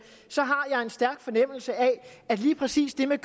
har jeg en stærk fornemmelse af at lige præcis det med